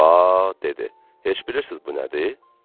Ba, dedi, heç bilirsiz bu nədir?